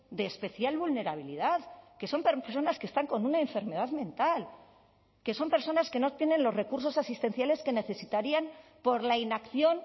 de especial vulnerabilidad que son personas que están con una enfermedad mental que son personas que no tienen los recursos asistenciales que necesitarían por la inacción